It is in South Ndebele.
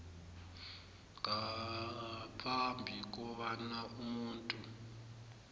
ngaphambi kobana umuntu